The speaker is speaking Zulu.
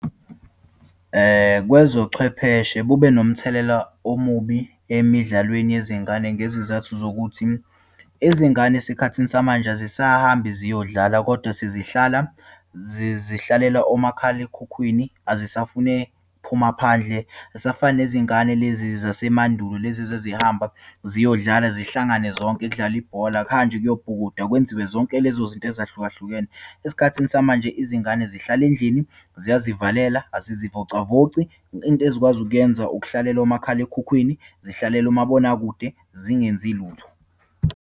Kwezochwepheshe kube nomthelela omubi emidlalweni yezingane, ngezizathu zokuthi izingane esikhathini samanje azisahambi ziyodlala kodwa sezihlala zihlalela omakhalekhukhwini, azisafune phuma phandle. Azisafani nezingane lezi zasemandulo lezi ezazihamba ziyodlala, zihlangane zonke, kudlalwe ibhola, kuhanjwe kuyobhukudwa, kwenziwe zonke lezo zinto ezahlukahlukene. Esikhathini samanje, izingane zihlale endlini, ziyazivalela, azizivocavoci. Into ezikwazi ukuyenza, ukuhlalela omakhalekhukhwini, zihlalele umabonakude, zingenzi lutho.